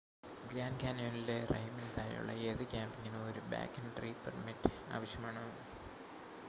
grand കാന്യോണിലെ റൈമിന് താഴെയുള്ള ഏത് ക്യാമ്പിംഗിനും ഒരു ബാക്ക്‌കൺട്രി പെർമിറ്റ് ആവശ്യമാണ്